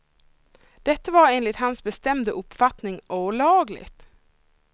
Detta var enligt hans bestämda uppfattning olagligt.